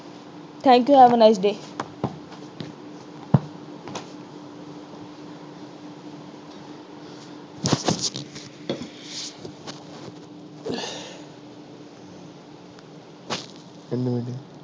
thank you have a nice day